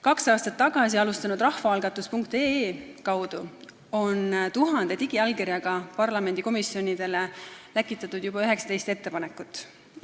Kaks aastat tagasi alustanud rahvaalgatus.ee kaudu on tuhande digiallkirjaga läkitatud parlamendikomisjonidele juba 19 ettepanekut.